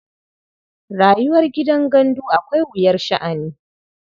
Rayuwar gidan gandu akwai wuyar sha'ani.